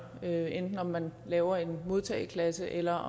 det er hvad enten man laver en modtageklasse eller